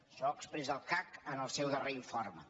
això ho expressa el cac en el seu darrer informe